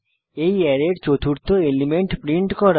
এই অ্যারের চতুর্থ এলিমেন্ট প্রিন্ট করা